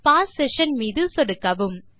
pass session மீது சொடுக்கவும்